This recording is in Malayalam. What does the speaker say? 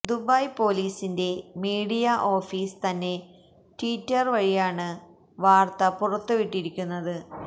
ദുബായ് പൊലീസിന്റെ മീഡിയ ഓഫീസ് തന്നെ ട്വിറ്റര് വഴിയാണ് വാര്ത്ത പുറത്തുവിട്ടിരിക്കുന്നത്